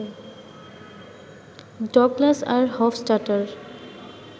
Douglas আর Hofstadter